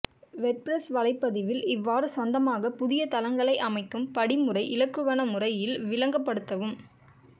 WordPress வலைப்பதிவில் எவ்வாறு சொந்தமாக புதிய தளங்களை அமைக்கும் படிமுறை இலகுவன முறை இல் விளங்க படுதவும்